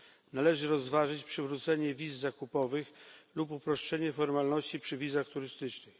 Należy rozważyć przywrócenie wiz zakupowych lub uproszczenie formalności przy wizach turystycznych.